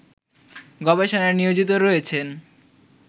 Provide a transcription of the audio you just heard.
গবেষণায় নিয়োজিত রয়েছেন